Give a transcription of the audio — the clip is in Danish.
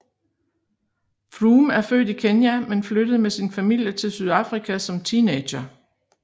Froome er født i Kenya men flyttede med sin familie til Sydafrika som teenager